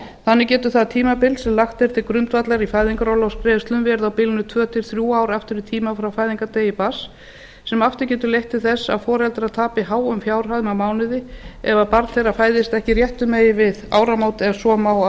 þannig getur það tímabil sem lagt er til grundvallar í fæðingarorlofsgreiðslum verið á bilinu tvö til þrjú ár aftur í tímann frá fæðingardegi barns sem aftur getur leitt til þess að foreldrar tapi háum fjárhæðum á mánuði ef barn þeirra fæðist ekki réttu megin við áramót ef svo má að